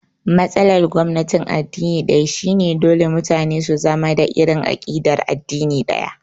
Matsalar gwamnatin addini ɗaya shi ne dole mutane su zama da irin aƙidar addini ɗaya